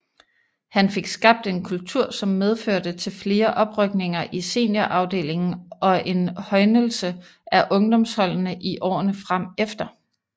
Han fik skabt en kultur som medførte til flere oprykninger i seniorafdelingen og en højnelse af ungdomsholdene i årerne fremefter